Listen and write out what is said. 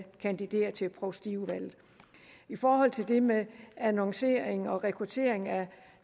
kandidere til provstiudvalget i forhold til det med annoncering og rekruttering